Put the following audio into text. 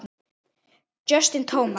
Justin Thomas.